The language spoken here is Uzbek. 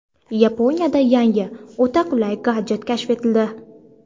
Yaponiyada yangi, o‘ta qulay gadjet kashf etildi.